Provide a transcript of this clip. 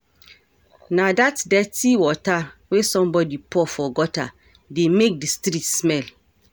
Na dat dirty water wey somebody pour for gutter dey make the street smell